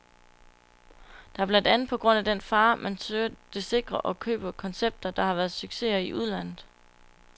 Det er blandt andet på grund af den fare, man søger det sikre og køber koncepter, der har været succeser i udlandet.